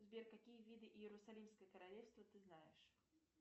сбер какие виды иерусалимское королевство ты знаешь